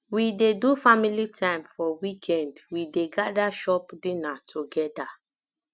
we dey do family time for weekend we dey gada chop dinner togeda